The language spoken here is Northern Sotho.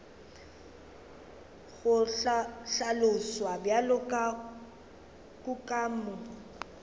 go hlaloswa bjalo ka kukamo